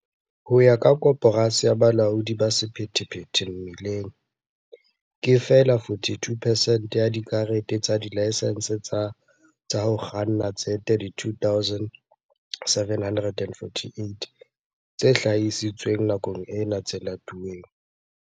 Ho ya ka Koporasi ya Bolaodi ba Sephethephethe Mebileng, ke feela 42 percent ya dikarete tsa dilaesense tsa ho kganna tse 32 748 tse hlahisitsweng nakong ena tse latuweng.